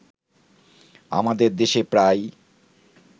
আমাদের দেশে প্রায়